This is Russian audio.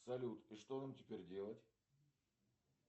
салют и что нам теперь делать